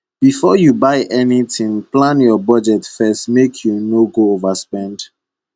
before you buy anything plan your budget first make you no go overspend